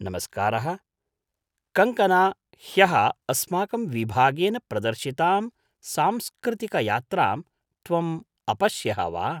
नमस्कारः कङ्ग्कना ह्यः अस्माकं विभागेन प्रदर्शितां सांस्कृतिकयात्रां त्वम् अपश्यः वा?